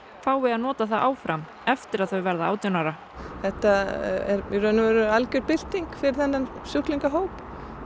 fái að nota það áfram eftir að þau verða átján ára þetta er í raun og veru algjör bylting fyrir þennan sjúklingahóp